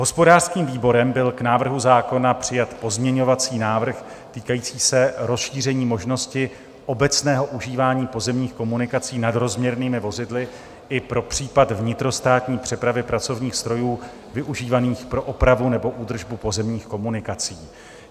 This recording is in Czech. Hospodářským výborem byl k návrhu zákona přijat pozměňovací návrh týkající se rozšíření možnosti obecného užívání pozemních komunikací nadrozměrnými vozidly i pro případ vnitrostátní přepravy pracovních strojů využívaných pro opravu nebo údržbu pozemních komunikací.